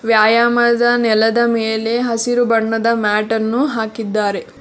ವ್ಯಾಯಾಮದ ನೆಲದ ಮೇಲೆ ಹಸಿರು ಬಣ್ಣದ ಮ್ಯಾಟ ನ್ನು ಹಾಕಿದ್ದಾರೆ.